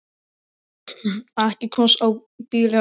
Ekki komstu á bíl eða hvað?